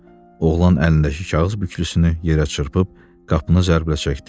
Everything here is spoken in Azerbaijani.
Oğlan əlindəki kağız bükülüsünü yerə çırpıb, qapını zərblə çəkdi.